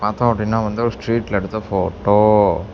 பாத்தோ அப்படின்னா வந்து ஒரு ஸ்ட்ரீட்ல எடுத்த போட்டோ .